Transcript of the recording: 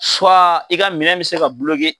i ka minɛn bɛ se ka